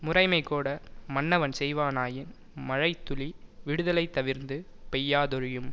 முறைமைகோட மன்னவன் செய்வனாயின் மழை துளி விடுதலைத் தவிர்ந்து பெய்யாதொழியும்